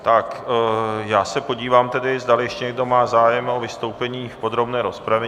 Tak, já se podívám tedy, zdali ještě někdo má zájem o vystoupení v podrobné rozpravě.